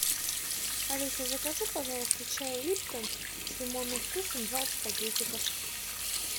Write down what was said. алиса закажи пожалуйста чай липтон с лимонным вкусом двадцать пакетиков